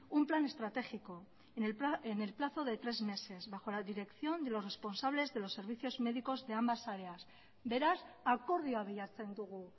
un plan estratégico en el plazo de tres meses bajo la dirección de los responsables de los servicios médicos de ambas áreas beraz akordioa bilatzen dugu